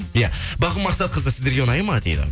иә бағым мақсатқызы сіздерге ұнай ма дейді